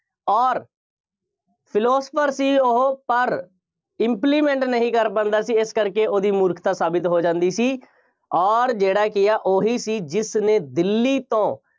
ਅੋਰ philosopher ਸੀ ਉਹ, ਪਰ implement ਨਹੀਂ ਕਰ ਪਾਉਂਦਾ ਸੀ। ਇਸ ਕਰਕੇ ਉਹਦੀ ਮੂਰਖਤਾ ਸਾਬਿਤ ਹੋ ਜਾਂਦੀ ਸੀ ਅੋਰ ਜਿਹੜਾ ਕਿ ਆ ਉਹੀ ਸੀ ਜਿਸਨੇ ਦਿੱਲੀ ਤੋਂ